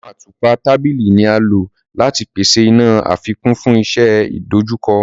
Awọn àtùpà tábìlì ní a ló láti pèsè iná àfikún fún iṣẹ idojukọ.